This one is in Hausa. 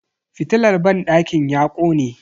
Fitilar banɗakin ya kone.